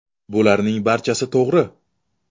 Bularning barchasi to‘g‘ri.